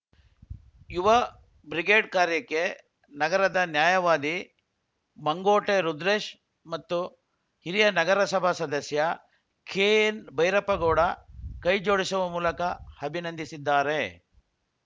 ಯುವ ಬ್ರಿಗೇಡ್‌ ಕಾರ್ಯಕ್ಕೆ ನಗರದ ನ್ಯಾಯವಾದಿ ಮಂಗೋಟೆ ರುದ್ರೇಶ್‌ ಮತ್ತು ಹಿರಿಯ ನಗರಸಭಾ ಸದಸ್ಯ ಕೆಎನ್‌ಭೈರಪ್ಪಗೌಡ ಕೈಜೋಡಿಸುವ ಮೂಲಕ ಅಭಿನಂದಿಸಿದ್ದಾರೆ